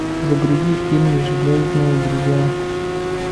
загрузи фильмы железные друзья